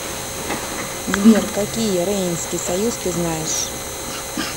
сбер какие рейнский союз ты знаешь